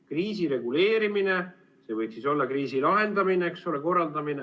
Kriisireguleerimine – see võiks olla kriisi lahendamine, eks ole, korraldamine.